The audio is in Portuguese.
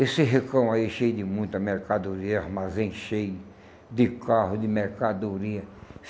Esse recão aí cheio de muita mercadoria, armazém cheio de carro, de mercadoria.